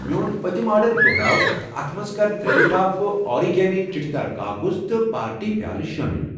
میٚون پٔتم آرڈر دۄہراو تہٕ اتھ مَنٛز کر ترٛےٚ لفافہٕ اورِگیمی چھِٹہِ دار کاکَذ پارٹی پیٛالہٕ شٲمِل